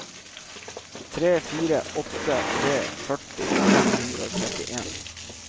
tre fire åtte tre førti fem hundre og trettien